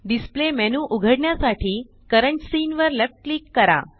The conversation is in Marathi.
displayमेन्यू उघडण्यासाठी करंट सीन वर लेफ्ट क्लिक करा